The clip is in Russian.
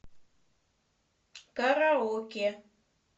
караоке